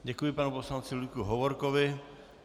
Děkuji panu poslanci Ludvíku Hovorkovi.